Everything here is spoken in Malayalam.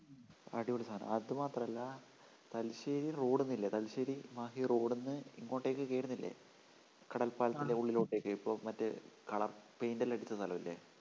അടിപൊളി സാധനം അതു മാത്രമല്ല തലശ്ശേരി റോഡിൽ നിന്നില്ല തലശ്ശേരി മാഹി road ൽ നിന്ന് ഇങ്ങോട്ട്ക്കു കേറുന്നില്ലെ കടൽപ്പാലത്തിൻ്റെ ഉള്ളിലോട്ടേക്ക് ഇപ്പൊ മറ്റേ color paint ല്ലാം അടിച്ച സ്ഥലമില്ല?